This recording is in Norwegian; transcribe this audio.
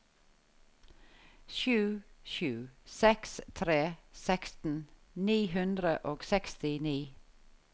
sju sju seks tre seksten ni hundre og sekstini